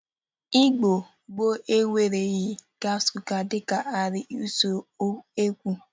Igbo gboo enwereghi gas cuka dịka arịa usekwu.